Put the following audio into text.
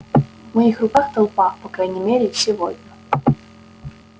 в моих руках толпа по крайней мере сегодня